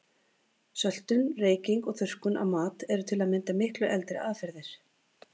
Söltun, reyking og þurrkun á mat eru til að mynda miklu eldri aðferðir.